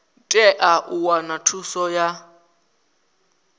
tea u wana thuso ya